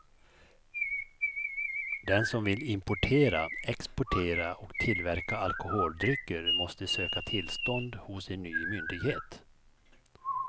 Den som vill importera, exportera och tillverka alkoholdrycker måste söka tillstånd hos en ny myndighet.